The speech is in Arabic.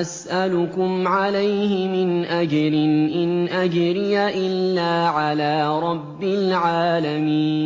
أَسْأَلُكُمْ عَلَيْهِ مِنْ أَجْرٍ ۖ إِنْ أَجْرِيَ إِلَّا عَلَىٰ رَبِّ الْعَالَمِينَ